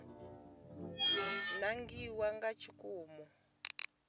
nangiwa nga tshikimu u ṋetshedza